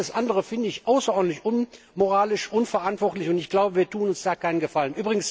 Alles andere finde ich außerordentlich unmoralisch, unverantwortlich, und ich glaube, wir tun uns damit keinen Gefallen.